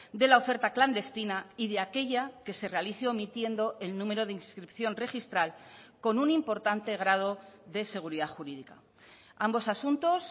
de la oferta clandestina y de aquella que se realice omitiendo el número de inscripción registral con un importante grado de seguridad jurídica ambos asuntos